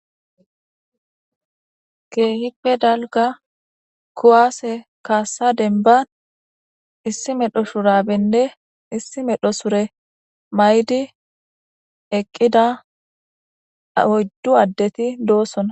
Keehippe dalga kuwaase kaassa denban issi medho sura binne issi medho sure may7di eqqida aoyddu addeti doosona